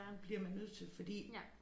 Bliver man nødt til fordi